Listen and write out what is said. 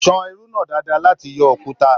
San irú náà dáadáa láti yọ òkúta.